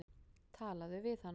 Talaðu við hana.